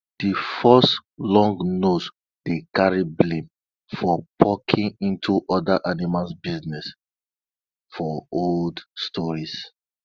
de fox long nose dey carry blame for poking into other animal business for old tales